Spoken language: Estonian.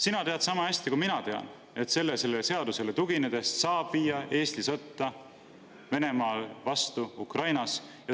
Sina tead sama hästi kui mina, et sellele seadusele tuginedes saab viia Eesti sõtta Venemaa vastu Ukrainas.